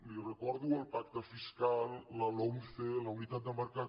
li recordo el pacte fiscal la lomce la unitat de mercat